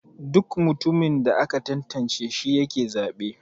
Duk mutumin da aka tantance shi yake zabe.